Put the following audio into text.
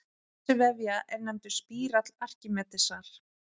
Þessi vefja er nefndur spírall Arkímedesar.